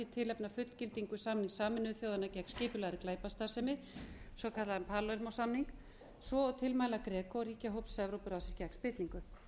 í tilefni af fullgildingu samnings sameinuðu þjóðanna gegn skipulagðri glæpastarfsemi svokallaðan palermo samning svo og tilmæla grecoríkjahóps evrópuráðsins gegn spillingu